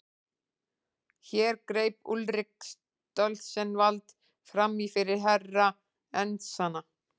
Hér greip Úlrika Stoltzenwald framí fyrir Herra Enzana.